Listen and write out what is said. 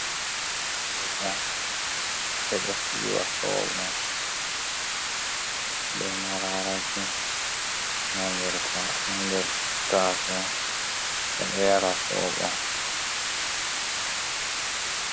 Soɓo ɓe ɗo siwa soɓo, be mararaki ha nder taso. Ɓe ɗo yara soɓo.